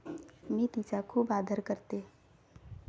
मी तिचा खूप आदर करते.